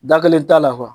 Da kelen t'a la kuwa